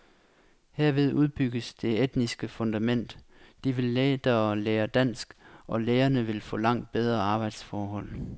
Herved udbygges det etniske fundament, de vil lettere lære dansk, og de lærerne vil få langt bedre arbejdsforhold.